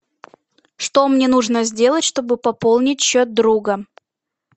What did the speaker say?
что мне нужно сделать чтобы пополнить счет друга